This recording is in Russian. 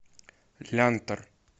лянтор